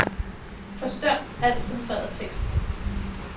Forstør al centreret tekst.